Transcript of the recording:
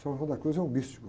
San Juan de la Cruz é um místico.